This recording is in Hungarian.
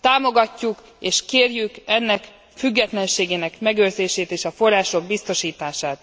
támogatjuk és kérjük e szabályozás függetlenségének megőrzését és a források biztosítását.